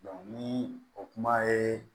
ni o kuma ye